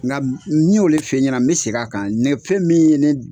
Ŋa m n y'o le f'e ɲɛna n be seg'a kan ne fɛn min ye ne d